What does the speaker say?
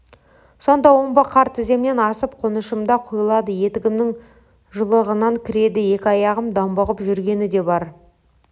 сонда омбы қар тіземнен асып қонышыма құйылады етігімнің жұлығынан кіреді екі аяғым домбығып жүргені де бар